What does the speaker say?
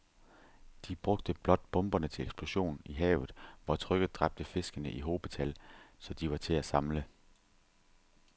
De bragte blot bomberne til eksplosion i havet, hvor trykket dræbte fiskene i hobetal, så de var til at samle